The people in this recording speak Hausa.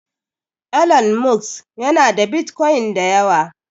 Elon Musk yana da Bitcoin da yawa.